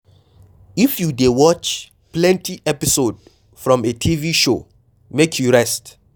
If you dey watch plenty episode from a TV show, make you rest